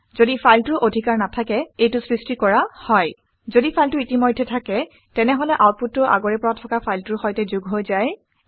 ঘদি ফাইলটোৰ স্থিতি অধিকাৰ নাথাকে এইটো সৃষ্টি কৰা হয়। যদি ফাইলটো ইতিমধ্যেই থাকে তেনেহলে আউটপুটটো আগৰে পৰা থকা ফাইলটোৰ সৈতে যোগ হৈ যায়